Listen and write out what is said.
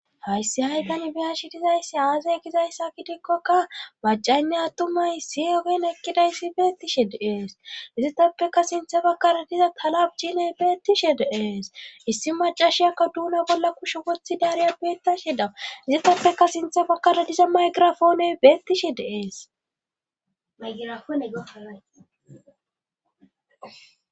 Hayssi haytan biyashi dizayssi aazaya gizayssa kidikkoka baccaynne attumay si efen ekkidayssi beettishe deees izitappeka sinthe bakara diza talab jiiney beettishe deees issi macashiyakka duuna bolla kushe wothi daariya beettashe dawa izitappeka sinthe bakkara diza maygirafooney betishe deeesmaygirafoone gefanay.